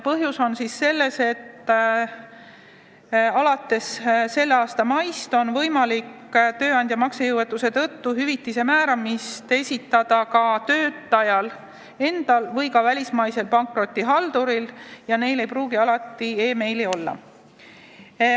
Põhjus on selles, et alates selle aasta maist on võimalik tööandja maksejõuetuse tõttu hüvitise määramist taotleda ka töötajal endal või ka välismaisel pankrotihalduril ja neil ei pruugi alati meiliaadressi olla.